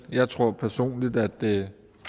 jeg tror personligt at det